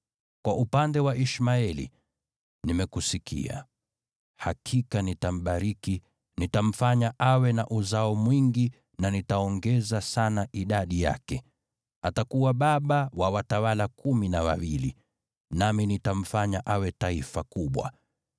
Kwa upande wa Ishmaeli, nimekusikia: hakika nitambariki, nitamfanya awe na uzao mwingi na nitaongeza sana idadi yake. Atakuwa baba wa watawala kumi na wawili, nami nitamfanya awe taifa kubwa.